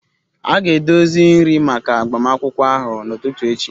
A ga-edozi nri maka agbamakwụkwọ ahụ n'ụtụtụ echi